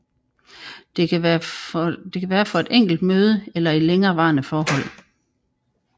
Det kan være for et enkelt møde eller i et længerevarende forhold